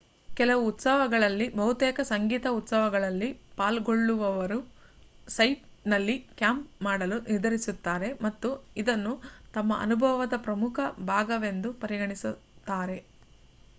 ಕೆಲವು ಉತ್ಸವಗಳಲ್ಲಿ ಬಹುತೇಕ ಸಂಗೀತ ಉತ್ಸವಗಳಲ್ಲಿ ಪಾಲ್ಗೊಳ್ಳುವವರು ಸೈಟ್‌ನಲ್ಲಿ ಕ್ಯಾಂಪ್ ಮಾಡಲು ನಿರ್ಧರಿಸುತ್ತಾರೆ ಮತ್ತು ಇದನ್ನು ತಮ್ಮ ಅನುಭವದ ಪ್ರಮುಖ ಭಾಗವೆಂದು ಪರಿಗಣಿಸುತ್ತಾರೆ